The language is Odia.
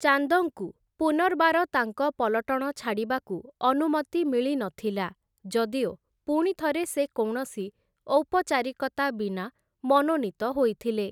ଚାନ୍ଦଙ୍କୁ ପୁନର୍ବାର ତାଙ୍କ ପଲଟଣ ଛାଡ଼ିବାକୁ ଅନୁମତି ମିଳିନଥିଲା, ଯଦିଓ ପୁଣିଥରେ ସେ କୌଣସି ଔପଚାରିକତା ବିନା ମନୋନୀତ ହୋଇଥିଲେ ।